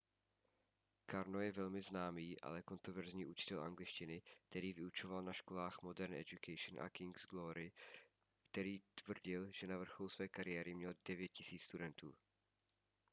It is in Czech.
karno je velmi známý ale kontroverzní učitel angličtiny který vyučoval na školách modern education a king's glory a který tvrdil že na vrcholu své kariéry měl 9 000 studentů